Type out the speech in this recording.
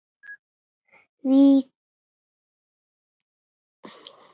Vikan hófst með látum.